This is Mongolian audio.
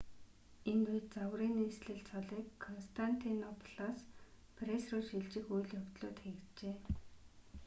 энэ үед загварын нийслэл цолыг константинополоос парис руу шилжих үйл явдлууд хийгджээ